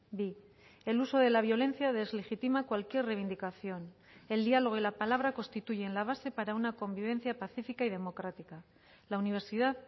bi el uso de la violencia deslegitima cualquier reivindicación el diálogo y la palabra constituyen la base para una convivencia pacífica y democrática la universidad